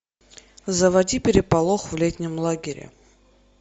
заводи переполох в летнем лагере